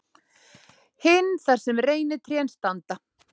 Hinn þar sem reynitrén standa.